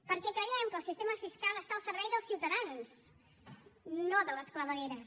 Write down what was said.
perquè creiem que el sistema fiscal està al servei dels ciutadans no de les clavegueres